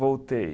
Voltei.